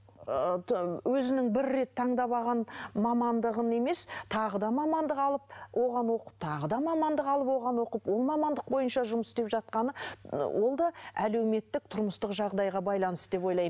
ыыы өзінің бір рет таңдап алған мамандығын емес тағы да мамандық алып оған оқып тағы да мамандық алып оған оқып ол мамандық бойынша жұмыс істеп жатқаны ы ол да әлеуметтік тұрмыстық жағдайға байланысты деп ойлаймын